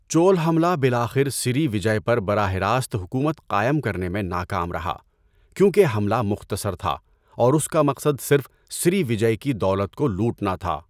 چول حملہ بالآخر سری وجئے پر براہ راست حکومت قائم کرنے میں ناکام رہا، کیونکہ حملہ مختصر تھا اور اس کا مقصد صرف سری وجئے کی دولت کو لوٹنا تھا۔